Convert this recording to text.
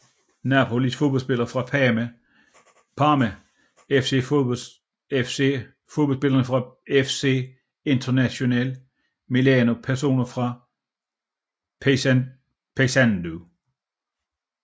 Napoli Fodboldspillere fra Parma FC Fodboldspillere fra FC Internazionale Milano Personer fra Paysandú